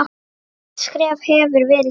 Stórt skref hefur verið stigið.